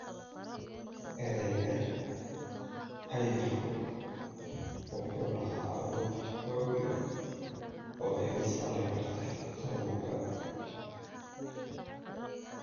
"Erayga cayilku wuxuu lahaa awood xoog leh oo iga saari karta qabowga.